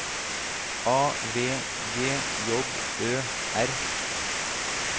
A V G J Ø R